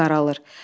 Hava qaralır.